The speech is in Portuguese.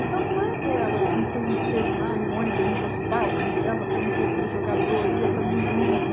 Então, quando elas me conheceram lá, e o ônibus encostava, eu enfiava a camiseta do jogador, e ia também junto.